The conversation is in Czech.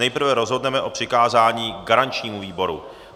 Nejprve rozhodneme o přikázání garančnímu výboru.